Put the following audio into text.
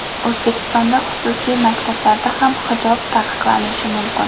O‘zbekistonda xususiy maktablarda ham hijob taqiqlanishi mumkin .